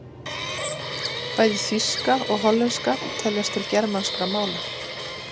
Bæði þýska og hollenska teljast til germanskra mála.